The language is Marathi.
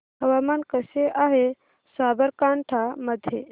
हवामान कसे आहे साबरकांठा मध्ये